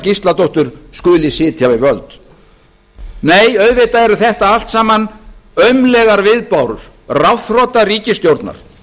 gísladóttur skuli sitja við völd nei auðvitað eru þetta allt saman aumlegar viðbárur ráðþrota ríkisstjórnar